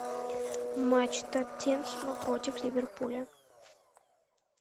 матч тоттенхэма против ливерпуля